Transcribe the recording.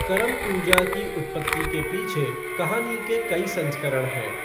करम पूजा की उत्पत्ति के पीछे कहानी के कई संस्करण हैं।